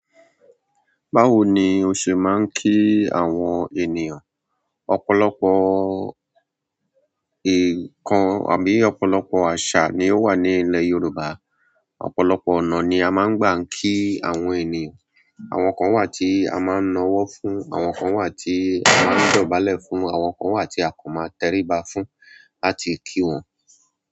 Báwo ni o ṣe máa ń kí àwọn ènìyàn? Ọ̀pọ̀lọpọ̀ nǹkan àbí ọ̀pọ̀lọpọ̀ àsà ni ó wà ní ilẹ̀ Yorùbá. Ọ̀pọ̀lọpọ̀ ọ̀nà ni a máa ń gbà kí àwọn ènìyàn. Àwọn kan wà tí a máa ń nawọ fún, àwọn kan wà tí a máa ń dọ̀bálẹ̀ fún, àwọn kan wà tí a kò máa tẹríba fún láti kí wọn.